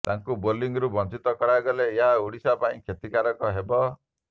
ତାକୁ ବୋଲିଂରୁ ବଞ୍ଚିତ କରାଗଲେ ଏହା ଓଡ଼ିଶା ପାଇଁ କ୍ଷତିକାରକ ହେବ